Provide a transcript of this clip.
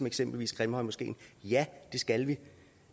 eksempel grimhøjmoskeen ja det skal vi